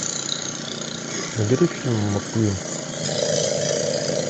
набери фильм маккуин